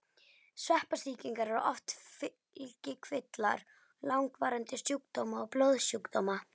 Sveppasýkingar eru oft fylgikvillar langvarandi sjúkdóma og blóðsjúkdóma.